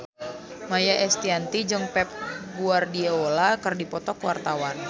Maia Estianty jeung Pep Guardiola keur dipoto ku wartawan